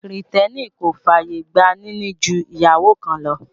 Kìrìtẹ́nì kò fàyè gba níní ju ìyàwó kan lọ